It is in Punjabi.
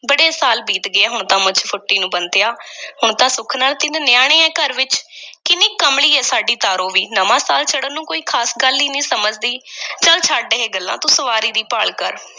ਬੜੇ ਸਾਲ ਬੀਤ ਗਏ ਹੁਣ ਤਾਂ ਮੁੱਛ ਫੁੱਟੀ ਨੂੰ ਬੰਤਿਆ ਹੁਣ ਤਾਂ ਸੁੱਖ ਨਾਲ ਤਿੰਨ ਨਿਆਣੇ ਐਂ ਘਰ ਵਿੱਚ ਕਿੰਨੀ ਕਮਲੀ ਐ, ਸਾਡੀ ਤਾਰੋ ਵੀ, ਨਵਾਂ ਸਾਲ ਚੜ੍ਹਨ ਨੂੰ ਕੋਈ ਖ਼ਾਸ ਗੱਲ ਈ ਨਹੀਂ ਸਮਝਦੀ ਚੱਲ ਛੱਡ ਇਹ ਗੱਲਾਂ ਤੂੰ ਸਵਾਰੀ ਦੀ ਭਾਲ ਕਰ।